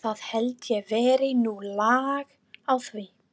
Það held ég verði nú lag á því.